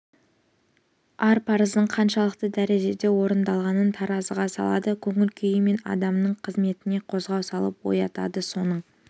ар парыздың қаншалықты дәрежеде орындалғанын таразыға салады көңіл күйі мен адамның қызметіне қозғау салып оятады соның